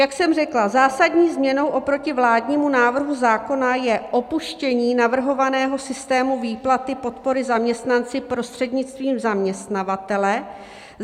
Jak jsem řekla, zásadní změnou oproti vládnímu návrhu zákona je opuštění navrhovaného systému výplaty podpory zaměstnanci prostřednictvím zaměstnavatele.